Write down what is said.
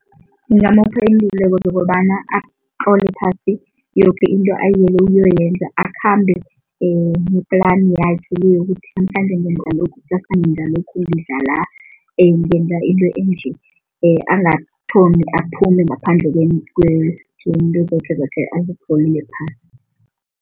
Ngigamupha iinluleko zokobana atlole phasi yoke into ayiyele ukuyoyenza, akhambe ne-plan yakhe le yokuthi namhlanje ngenza lokhu, ksasa ngeza lokhu, ngidla la, ngenza into enje. Angathomi aphume ngaphandle kwento zoke azitlolie phasi.